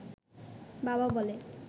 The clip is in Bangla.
বাবা বলে